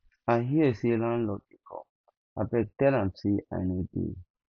i hear say landlord dey come abeg tell am say i no dey